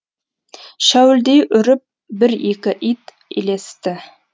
шәуілдей үріп бір екі ит ілесті